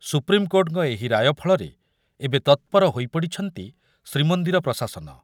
ସୁପ୍ରିମକୋର୍ଟଙ୍କ ଏହି ରାୟ ଫଳରେ ଏବେ ତତ୍ପର ହୋଇପଡ଼ିଛନ୍ତି ଶ୍ରୀମନ୍ଦିର ପ୍ରଶାସନ।